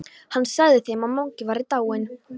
Hann sagði þeim að Mangi væri dáinn.